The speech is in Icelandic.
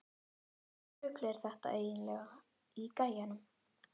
Hvaða rugl er þetta eiginlega í gæjanum?